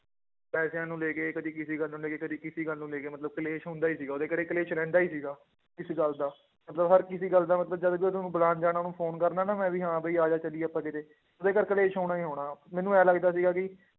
ਪੈਸਿਆਂ ਨੂੰ ਲੈ ਕੇ ਕਦੇ ਕਿਸੇ ਗੱਲ ਨੂੰ ਲੈ ਕੇ, ਕਦੇ ਕਿਸੇ ਗੱਲ ਨੂੰ ਲੈ ਕੇ ਮਤਲਬ ਕਲੇਸ਼ ਹੁੰਦਾ ਹੀ ਸੀਗਾ ਉਹਦੇ ਘਰੇ ਕਲੇਸ਼ ਰਹਿੰਦਾ ਹੀ ਸੀਗਾ, ਇਸ ਗੱਲ ਦਾ ਮਤਲਬ ਹਰ ਕਿਸੇ ਗੱਲ ਦਾ ਮਤਲਬ ਜਦ ਵੀ ਉਹਨੂੰ ਬੁਲਾਉਣ ਜਾਣਾ ਉਹਨੂੰ phone ਕਰਨਾ ਨਾ ਮੈਂ ਵੀ ਹਾਂ ਵੀ ਆ ਜਾ ਚੱਲੀਏ ਆਪਾਂ ਕਿਤੇ ਉਹਦੇ ਘਰ ਕਲੇਸ਼ ਹੋਣਾ ਹੀ ਹੋਣਾ, ਮੈਨੂੰ ਇਉਂ ਲੱਗਦਾ ਸੀਗਾ ਕਿ